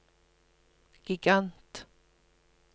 gigant